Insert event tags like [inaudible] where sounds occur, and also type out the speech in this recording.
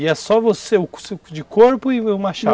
E é só você [unintelligible] de corpo e o machado?